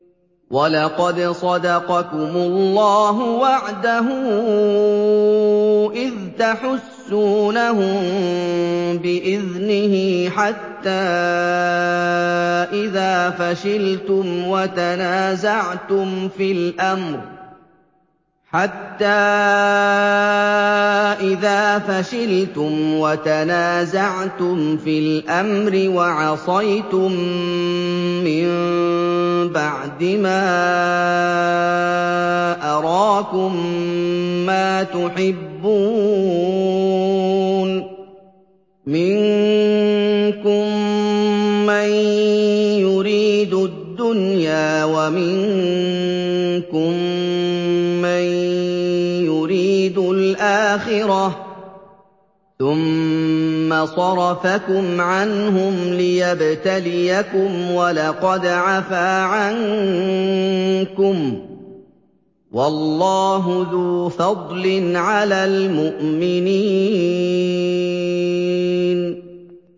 وَلَقَدْ صَدَقَكُمُ اللَّهُ وَعْدَهُ إِذْ تَحُسُّونَهُم بِإِذْنِهِ ۖ حَتَّىٰ إِذَا فَشِلْتُمْ وَتَنَازَعْتُمْ فِي الْأَمْرِ وَعَصَيْتُم مِّن بَعْدِ مَا أَرَاكُم مَّا تُحِبُّونَ ۚ مِنكُم مَّن يُرِيدُ الدُّنْيَا وَمِنكُم مَّن يُرِيدُ الْآخِرَةَ ۚ ثُمَّ صَرَفَكُمْ عَنْهُمْ لِيَبْتَلِيَكُمْ ۖ وَلَقَدْ عَفَا عَنكُمْ ۗ وَاللَّهُ ذُو فَضْلٍ عَلَى الْمُؤْمِنِينَ